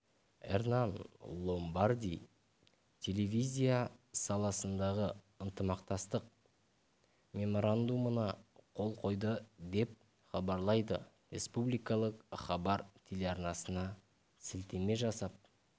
эрнан ломбарди телевизия саласындағы ынтымақтастық меморандумына қол қойды деп хабарлайды республикалық хабар телеарнасына сілтеме жасап